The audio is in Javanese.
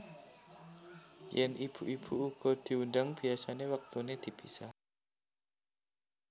Yèn ibu ibu uga diundhang biasané wektuné dipisah